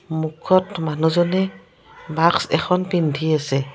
মুখত মানুহজনে মাস্ক এখন পিন্ধি আছে।